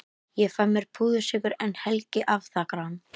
Ég fæ mér púðursykur en Helgi afþakkar hann.